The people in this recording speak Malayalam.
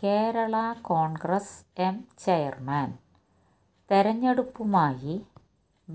കേരളാ കോൺഗ്രസ് എം ചെയർമാൻ തെരഞ്ഞെടുപ്പുമായി